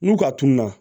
N'u ka tununa